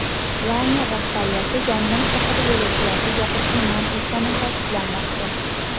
Layner rahbariyati yong‘in haqida yo‘lovchilarga gapirishni man etgani ta’kidlanmoqda.